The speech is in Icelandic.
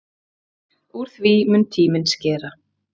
Úr því mun tíminn skera.